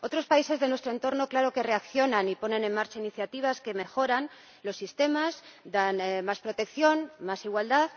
Otros países de nuestro entorno sí que reaccionan y ponen en marcha iniciativas que mejoran los sistemas, dan más protección y más igualdad.